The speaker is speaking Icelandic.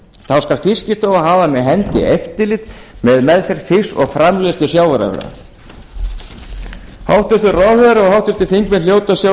þá skal fiskistofa hafa með hendi eftirlit með meðferð fisks og framleiðslu sjávarafurða hæstvirtur ráðherra og háttvirtir þingmenn hljóta að sjá